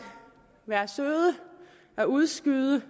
være søde at udskyde